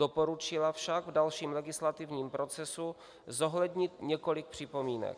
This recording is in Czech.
Doporučila však v dalším legislativním procesu zohlednit několik připomínek.